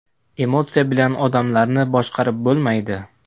Emotsiya bilan odamlarni boshqarib bo‘lmaydi.